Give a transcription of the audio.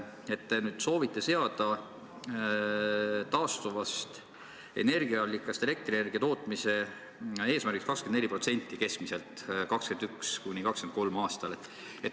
Te nüüd soovite seada taastuvast energiaallikast elektrienergia tootmise eesmärgiks keskmiselt 24% 2021.–2023. aastal.